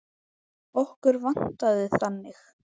Okkur vantaði þannig.